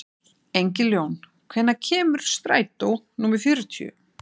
Engiljón, hvenær kemur strætó númer fjörutíu?